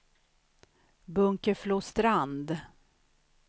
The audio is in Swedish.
Bunkeflostrand